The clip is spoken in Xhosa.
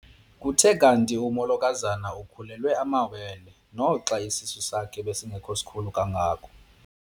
Kuthe kanti umolokazana ukhulelwe amawele naxa isisu sakhe besingesikhulu kangako.